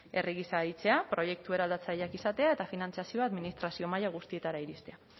herri gisa deitzea proiektu eraldatzaileak izatea eta finantzazioa administrazio maila guztietara iristea